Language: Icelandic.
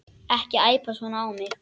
Ekki æpa svona á mig.